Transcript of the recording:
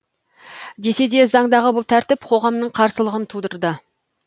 десе де заңдағы бұл тәртіп қоғамның қарсылығын тудырды